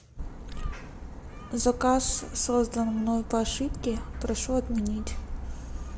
заказ создан мной по ошибке прошу отменить